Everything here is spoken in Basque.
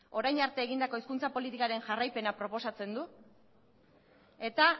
orain arte egindakok hizkuntza politikaren jarraipena proposatzen du eta